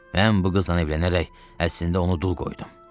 Mən bu qızdan evlənərək əslində onu dul qoydum.